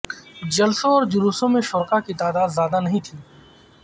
جلسوں اور جلوسوں میں شرکاء کی تعداد زیادہ نہیں تھیں